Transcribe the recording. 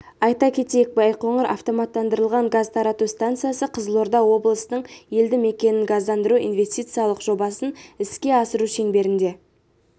айта кетейік байқоңыр автоматтандырылған газ тарату станциясы қызылорда облысының елді мекенін газдандыру инвестициялық жобасын іске асыру шеңберінде